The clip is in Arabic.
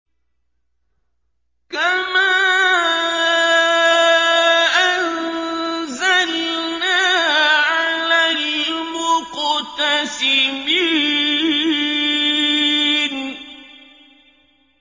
كَمَا أَنزَلْنَا عَلَى الْمُقْتَسِمِينَ